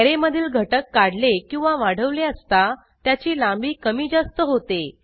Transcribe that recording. array मधील घटक काढले किंवा वाढवले असता त्याची लांबी कमीजास्त होते